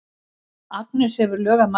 Agnes hefur lög að mæla.